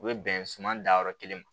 U bɛ bɛn suman danyɔrɔ kelen ma